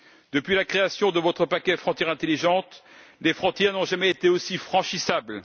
Depuis la création de votre paquet Frontières intelligentes, les frontières n'ont jamais été aussi franchissables.